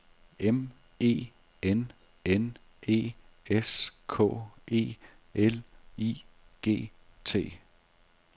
M E N N E S K E L I G T